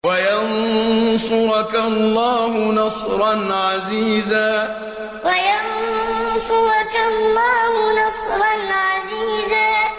وَيَنصُرَكَ اللَّهُ نَصْرًا عَزِيزًا وَيَنصُرَكَ اللَّهُ نَصْرًا عَزِيزًا